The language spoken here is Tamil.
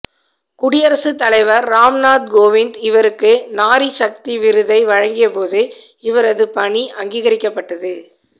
குடியரசுத் தலைவர் ராம் நாத் கோவிந்த் இவருக்கு நாரி சக்தி விருதை வழங்கியபோது இவரது பணி அங்கீகரிக்கப்பட்டது